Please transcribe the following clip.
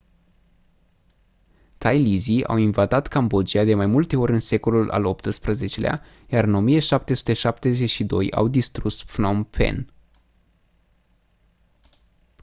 thailizii au invadat cambodgia de mai multe ori în secolul al xviii-lea iar în 1772 au distrus phnom phen